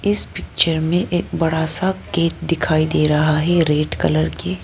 इस पिक्चर में एक बड़ा सा गेट दिखाई दे रहा है रेड कलर की।